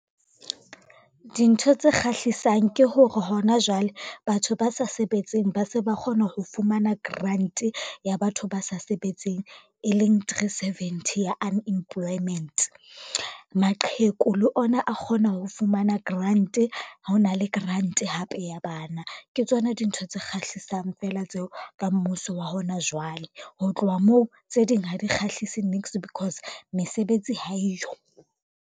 Dintho tse kgahlisang ke hore hona jwale batho ba sa sebetseng ba se ba kgona ho fumana grant ya batho ba sa sebetseng, e leng three seventy ya unemployment. Maqheku le ona a kgona ho fumana grant ha hona le grant hape ya bana. Ke tsona dintho tse kgahlisang fela tseo ka mmuso wa hona jwale. Ho tloha moo, tse ding ha di kgahlise niks because mesebetsi ha eyo.